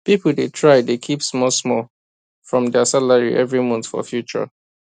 people dey try dey keep small small from their salary every month for future